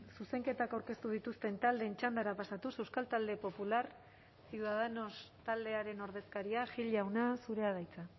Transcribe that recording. zuzenketak aurkeztu dituzten taldeen txandara pasatuz euskal talde popular ciudadanos taldearen ordezkaria gil jauna zurea da hitza